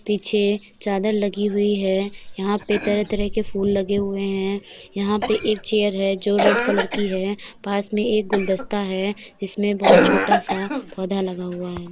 पीछे चादर लगी हुई है। यहाँ पे तरह तरह के फूल लगे हुए है। यहाँ पे एक चेयर है जो रेड कलर की है। पास में एक गुलदस्ता है। जिसमे बहोत छोटा सा पौधा लगा हुआ है।